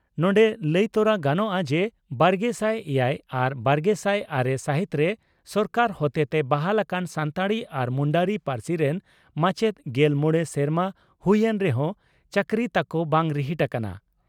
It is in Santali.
ᱱᱚᱰᱮ ᱞᱟᱹᱭ ᱛᱚᱨᱟ ᱜᱟᱱᱚᱜᱼᱟ ᱡᱮ ᱵᱟᱨᱜᱮᱥᱟᱭ ᱮᱭᱟᱭ ᱟᱨ ᱵᱟᱨᱜᱮᱥᱟᱭ ᱟᱨᱮ ᱥᱟᱹᱦᱤᱛᱨᱮ ᱥᱚᱨᱠᱟᱨ ᱦᱚᱛᱮᱛᱮ ᱵᱟᱦᱟᱞ ᱟᱠᱟᱱ ᱥᱟᱱᱛᱟᱲᱤ ᱟᱨ ᱢᱩᱱᱰᱟᱹᱨᱤ ᱯᱟᱹᱨᱥᱤ ᱨᱮᱱ ᱢᱟᱪᱮᱛ ᱜᱮᱞ ᱢᱚᱲᱮ ᱥᱮᱨᱢᱟ ᱦᱩᱭ ᱮᱱ ᱨᱮᱦᱚᱸ ᱪᱟᱹᱠᱨᱤ ᱛᱟᱠᱚ ᱵᱟᱝ ᱨᱤᱦᱤᱴ ᱟᱠᱟᱱᱟ ᱾